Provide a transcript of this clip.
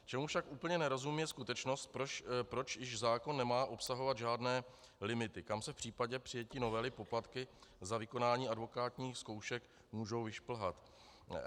Čemu však úplně nerozumím, je skutečnost, proč již zákon nemá obsahovat žádné limity, kam se v případě přijetí novely poplatky za vykonání advokátních zkoušek můžou vyšplhat.